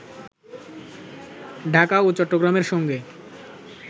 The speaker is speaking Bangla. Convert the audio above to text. ঢাকা ও চট্টগ্রামের সঙ্গে